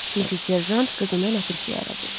Çünki serjant qızını ləpirçiyə ərə verib.